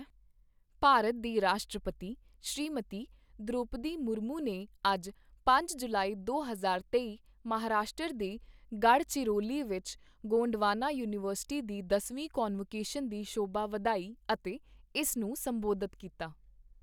ਭਾਰਤ ਦੇ ਰਾਸ਼ਟਰਪਤੀ, ਸ਼੍ਰੀਮਤੀ ਦ੍ਰੌਪਦੀ ਮੁਰਮੂ ਨੇ ਅੱਜ ਪੰਜ ਜੁਲਾਈ, ਦੋ ਹਜ਼ਾਰ ਤੇਈ ਮਹਾਰਾਸ਼ਟਰ ਦੇ ਗੜ੍ਹਚਿਰੌਲੀ ਵਿੱਚ ਗੋਂਡਵਾਨਾ ਯੂਨੀਵਰਸਿਟੀ ਦੀ ਦਸਵੀਂ ਕਨਵੋਕੇਸ਼ਨ ਦੀ ਸ਼ੋਭਾ ਵਧਾਈ ਅਤੇ ਇਸ ਨੂੰ ਸੰਬੋਧਨ ਕੀਤਾ।